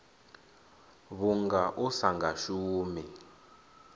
vhunga u sa nga shumi